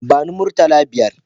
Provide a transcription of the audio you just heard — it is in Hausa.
Ba ni murtala biyar